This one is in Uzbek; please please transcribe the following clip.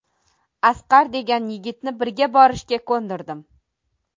Asqar degan yigitni birga borishga ko‘ndirdim.